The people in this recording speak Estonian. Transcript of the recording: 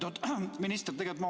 Lugupeetud minister!